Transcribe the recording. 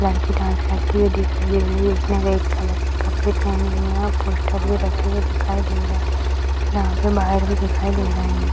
लड़की डांस करते हुई दिख रही है उसने रेड कलर के कपड़े पहने हुए हैं पोस्टर भी रखे हुए दिखाई दे रहे हैं और यहाँ पर बाहर भी दिखाई दे रहे है।